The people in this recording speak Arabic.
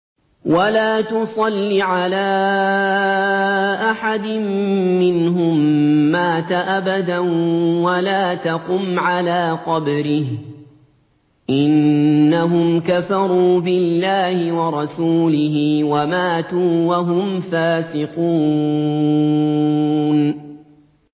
وَلَا تُصَلِّ عَلَىٰ أَحَدٍ مِّنْهُم مَّاتَ أَبَدًا وَلَا تَقُمْ عَلَىٰ قَبْرِهِ ۖ إِنَّهُمْ كَفَرُوا بِاللَّهِ وَرَسُولِهِ وَمَاتُوا وَهُمْ فَاسِقُونَ